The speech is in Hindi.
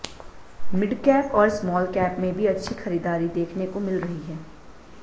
मिडकैप और स्मॉल कैप में भी अच्छी खरीदारी देखने को मिल रही है